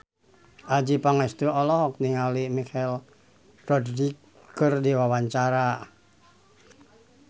Adjie Pangestu olohok ningali Michelle Rodriguez keur diwawancara